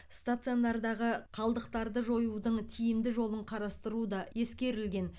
стационардағы қалдықтарды жоюдың тиімді жолын қарастыру да ескерілген